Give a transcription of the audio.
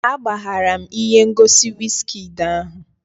Agbaghara m ihe ngosi wizkid ahụ